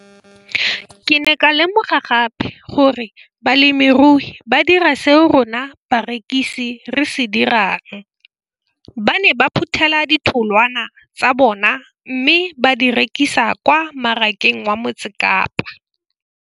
Ke ne ka lemoga gape gore balemirui ba dira seo rona barekisi re se dirang, ba ne ba phuthela ditholwana tsa bona mme ba di rekisa kwa marakeng wa Motsekapa.